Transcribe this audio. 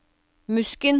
Musken